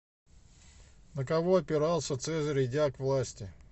на кого опирался цезарь идя к власти